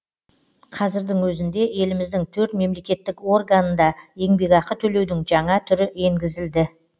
қазірдің өзінде еліміздің төрт мемлекеттік органында еңбекақы төлеудің жаңа түрі енгізілді